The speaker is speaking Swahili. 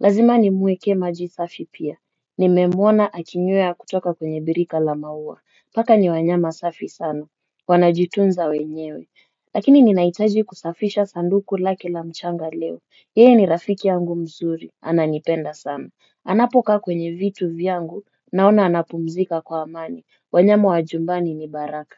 Lazima nimuekee maji safi pia, nimemuona akinywea kutoka kwenye birika la maua, paka ni wanyama safi sana, wanajitunza wenyewe. Lakini ninahitaji kusafisha sanduku lake la mchanga leo, yeye ni rafiki yangu mzuri, ananipenda sana, anapokaa kwenye vitu vyangu, naona anapumzika kwa amani, wanyama wa jumbani ni baraka.